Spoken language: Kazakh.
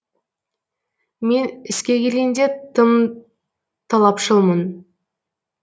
мен іске келгенде тым талапшылмын